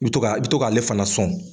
Mi to k'a i bi to k'ale fana sɔn